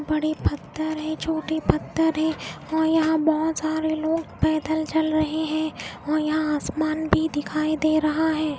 बड़े पत्थर हैं छोटे पत्थर हैं और यहाँ बहुत सरे लोग पैदल चल रहे हैं और यहाँ आसमान भी दिखाई दे रहा है.